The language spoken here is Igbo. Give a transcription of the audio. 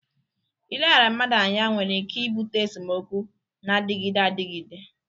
Ileghara mmadụ anya nwere ike ibute esemokwu na-adịgide adịgide.